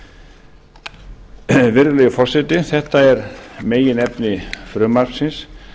af alþingi virðulegi forseti þetta er meginefni frumvarpsins